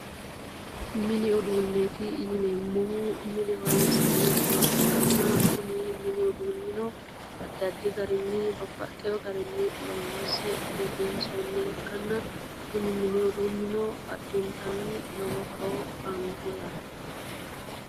Mini uduuneeti yineemohu mine horoni'sineemoha ikkanna kuni mini uduunnino addi addi garinni babbaxewo garinni loonise bifinissoonniha ikkana kuni mini uduunino addinitanni lowo horo aannoho yaate